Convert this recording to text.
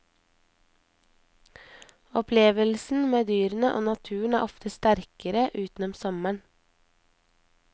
Opplevelsen med dyrene og naturen er ofte sterkere utenom sommeren.